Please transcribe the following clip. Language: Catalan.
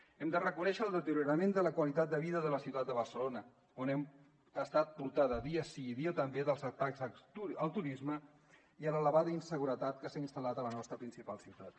hem de reconèixer el deteriorament de la qualitat de vida de la ciutat de barcelona que ha estat portada dia sí i dia també pels atacs al turisme i l’elevada inseguretat que s’ha instal·lat a la nostra principal ciutat